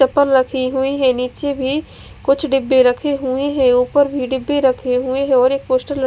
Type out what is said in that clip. चपल रखी हुई है निचे भी कुछ डब्बे रखे हुए है उपर भी डिब्बे रखे हुए है और एक पोस्टर लगा--